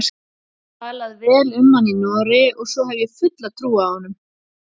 Talað vel um hann í Noregi og svo hef ég fulla trú á honum.